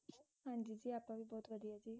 ਹਾਂਜੀ ਜੀ ਆਪਾਂ ਵੀ ਬਹੁਤ ਵਧੀਆ ਜੀ